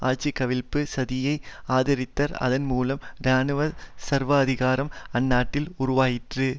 ஆட்சி கவிழ்ப்பு சதியை ஆதரித்தர் அதன் மூலம் இராணுவ சர்வாதிகாரம் அந்நாட்டில் உருவாயிற்று